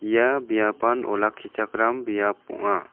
ia biapan olakkichakram biap ong·a.